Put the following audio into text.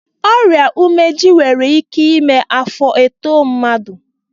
Ọrịa umeji nwere ike mee afọ etoo mmadụ.